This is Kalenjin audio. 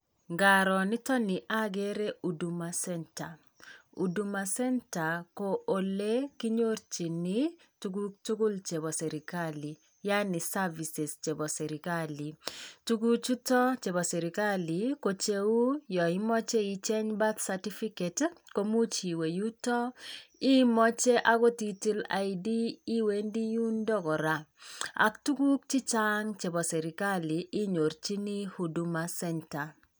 Ngaroo niiton nii agere Huduma Centre. Huduma Centre ko olekinyorichini tuguk tugul chepoo serkali yaani Services chepoo serkali. Tuguchutok chebo serkali ko cheu yoimoche icheng' Birth certificate komuch iwe yuto imoche agot itil ID iwendi yundook koraa. Ak tuguk chechang' chepoo serkali inyorchini Huduma Centre.